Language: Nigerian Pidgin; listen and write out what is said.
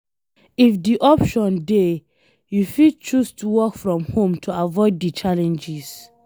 if di option dey, you fit choose to work from home to avoid di challenges